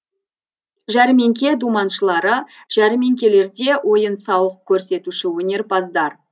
жәрмеңке думаншылары жәрмеңкелерде ойын сауық көрсетуші өнерпаздар